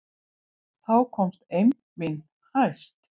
Þá komst eymd mín hæst.